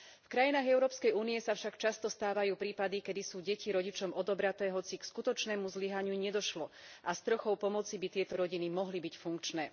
V krajinách Európskej únie sa však často stávajú prípady, keď sú deti rodičom odobraté, hoci k skutočnému zlyhaniu nedošlo a s trochou pomoci by tieto rodiny mohli byť funkčné.